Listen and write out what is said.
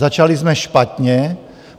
Začali jsme špatně.